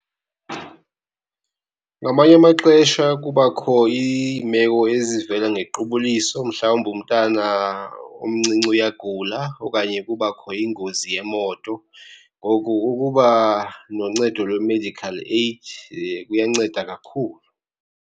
Ngamanye amaxesha kubakho iimeko ezivela ngequbuliso, mhlawumbi umntana omncinci uyagula okanye kubakho ingozi yemoto. Ngoku ukuba noncedo lwe-medical aid kuyanceda kakhulu.